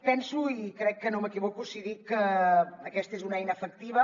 penso i crec que no m’equivoco si dic que aquesta és una eina efectiva